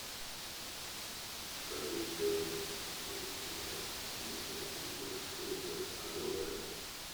скажи стоимость если поменять четыреста фунтов стерлингов на доллары